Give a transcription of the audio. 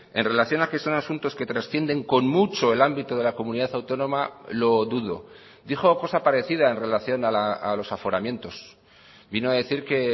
en relación a que son asuntos que trascienden con mucho el ámbito de la comunidad autónoma lo dudo dijo cosa parecida en relación a los aforamientos vino a decir que